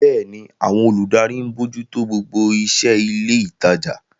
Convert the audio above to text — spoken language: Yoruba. Bẹ́ẹ̀ni, àwọn olùdarí ń bójú tó gbogbo iṣẹ́ ilé ìtajà.